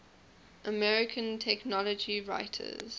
american technology writers